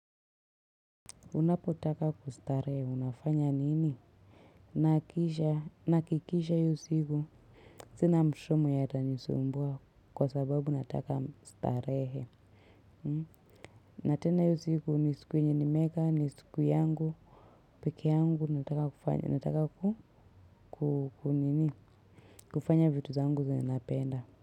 Unapotaka kustarehe unafanya nini? Nahakikisha hiyo siku sina mtoto mwenye atanisumbua kwa sababu nataka starehe. Na tena hiyo siku ni siku yenye nimeweka ni siku yangu peke yangu nataka kufanya nataka ku kunini kufanya vitu zangu zenye napenda.